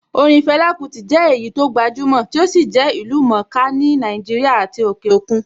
Orin Fela Kuti jẹ́ èyí tó gbajúmọ̀ tó sì jẹ́ ìlú-mọ̀-ó-ká ní Nàìjíríà àti òkè òkun.